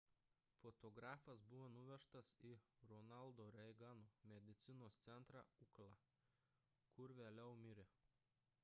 fotografas buvo nuvežtas į ronaldo reigano medicinos centrą ucla kur vėliau mirė